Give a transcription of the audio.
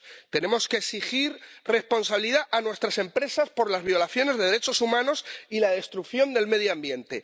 Tenemos que exigir responsabilidad a nuestras empresas por las violaciones de derechos humanos y la destrucción del medio ambiente.